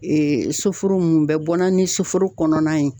soforo nunnu, u bɛ bɔ na ɲɛ soforo kɔnɔna in